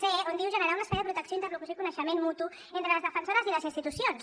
c on diu generar un espai de protecció interlocució i coneixement mutu entre les defensores i les institucions